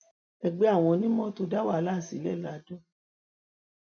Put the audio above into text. ẹgbẹ àwọn onímọtò dá wàhálà sílẹ ladọ